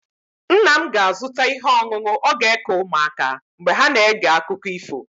Nna m ga-azụta ihe ọṅụṅụ ọ ga-eke ụmụaka mgbe ha na-ege akụkọ ifo.